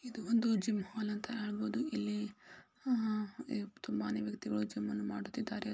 ಇದು ಒಂದು ಜಿಮ್ ನ ಹಾಲ್ ಅಂತ ಹೇಳಬಹುದು .ಇಲ್ಲಿ ಆ ತುಂಬಾನೇ ವ್ಯಕ್ತಿಗಳು ಜಿಮ್ ಅನ್ನು ಮಾಡುತ್ತಿದ್ದಾರೆ .